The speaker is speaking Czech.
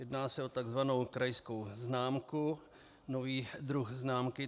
Jedná se o tzv. krajskou známku, nový druh známky.